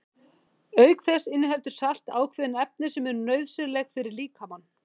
Auk þessa inniheldur salt ákveðin efni sem eru nauðsynleg fyrir líkamann.